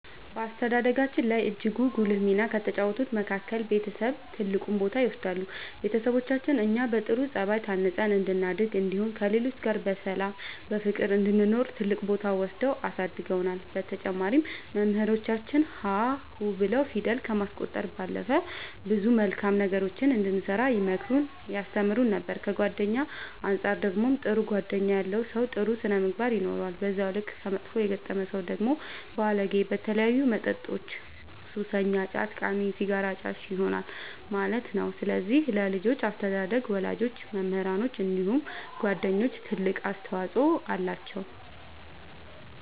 በአስተዳደጋችን ላይ እጅግ ጉልህ ሚና ከተጫወቱት መካከል ቤተሰብ ትልቁን ቦታ ይወስዳሉ ቤተሰቦቻችን እኛ በጥሩ ጸባይ ታንጸን እንድናድግ እንዲሁም ከሌሎች ጋር በሰላም በፍቅር እንድንኖር ትልቅ ቦታ ወስደው አሳድገውናል በተጨማሪም መምህራኖቻችን ሀ ሁ ብለው ፊደል ከማስቆጠር ባለፈ ብዙ መልካም ነገሮችን እንድንሰራ ይመክሩን ያስተምሩን ነበር ከጓደኛ አንፃር ደግሞ ጥሩ ጓደኛ ያለው ሰው ጥሩ ስነ ምግባር ይኖረዋል በዛው ልክ ከመጥፎ የገጠመ ሰው ደግሞ ባለጌ በተለያዩ መጠጦች ሱሰኛ ጫት ቃሚ ሲጋራ አጫሽ ይሆናል ማለት ነው ስለዚህ ለልጆች አስተዳደግ ወላጆች መምህራኖች እንዲሁም ጓደኞች ትልቅ አስተዋፅኦ አላቸው።